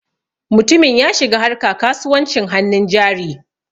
Mutumin ya shiga harka kasuwancin hannun jari.